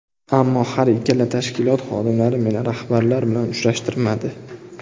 Ammo har ikkala tashkilot xodimlari meni rahbarlar bilan uchrashtirmadi.